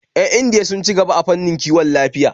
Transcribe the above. Yan Indiya sun ci gaba a fannin kiwon lafiya